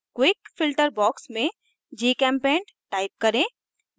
quick filter quick filter box में gchempaint type करें